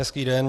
Hezký den.